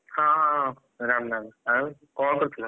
ହଁ ହଁ ହଁ ରାମ୍‌ ରାମ୍‌ ଆଉ, କଣ କରୁଥିଲ?